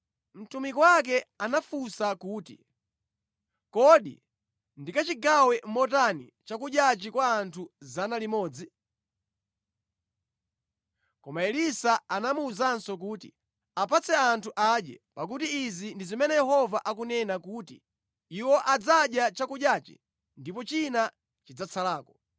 Mtumiki wake anafunsa kuti, “Kodi ndikachigawe motani chakudyachi kwa anthu 100?” Koma Elisa anamuwuzanso kuti, “Apatse anthu adye. Pakuti izi ndi zimene Yehova akunena kuti, ‘Iwo adzadya chakudyachi ndipo china chidzatsalako.’ ”